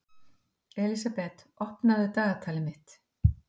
Elísabeth, opnaðu dagatalið mitt.